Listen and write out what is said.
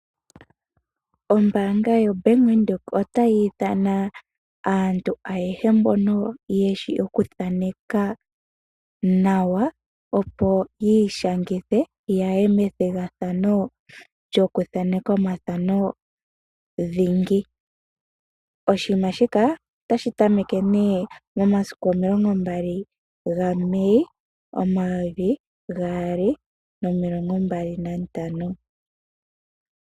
Ombaanga yoBank Windhoek otayi ithana aantu ayehe mbono yeshi okuthaneka nawa, opo yiishangithe, yaye methigathano lyokuthaneka omathano dhingi. Oshinima shika otashi tameke nduno momasiku omilongo mbali ga Mei, omayovi gaali nomilongo mbali nantano.